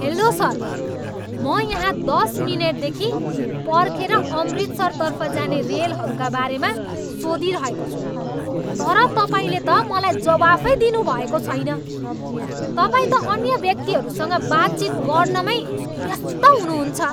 Hello sir! म यहाँ दस मिनेटदेखि पर्खेर अमृतसरतर्फ जाने रेलहरूका बारेमा सोधिरहेको छु तर तपाईँले त मलाई जवाफै दिनुभएको छैन। तपाईँ त अन्य व्यक्तिहरूसँग बातचित गर्नमै व्यस्त हुनुहुन्छ।